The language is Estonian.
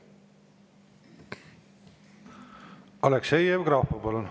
Aleksei Jevgrafov, palun!